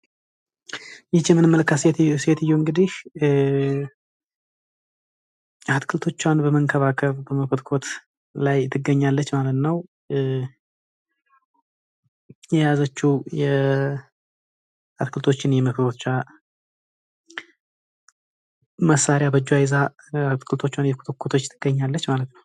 ይህቺ የምንመለከታት ሴትዮ እንግዲህ አትክልቶቿን በመንከባከብ በመኮትኮት ላይ ትገኛለች ማለት ነው ።የያዘችው አትክልቶችን የመኮትኮቻ መሳሪያ በእጇ ይዛ አትክልቶችዋን እየኮተኮቶች ትገኛለች ማለት ነው።